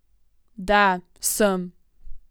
Da, sem.